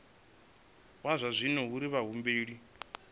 wa zwa dzinnu uri vhahumbeli